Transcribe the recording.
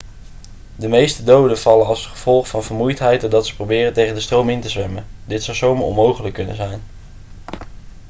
de meeste doden vallen als gevolg van vermoeidheid doordat ze proberen tegen de stroom in te zwemmen dit zou zomaar onmogelijk kunnen zijn